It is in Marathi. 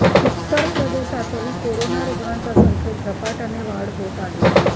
उत्तर प्रदेशातही कोरोना रुग्णांच्या संख्येत झपाट्याने वाढ होत आहे